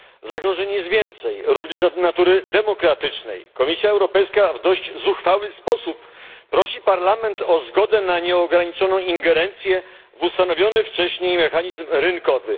Zagrożeń jest więcej, również natury demokratycznej. Komisja Europejska w dość zuchwały sposób prosi Parlament o zgodę na nieograniczoną ingerencję w ustanowiony wcześniej mechanizm rynkowy.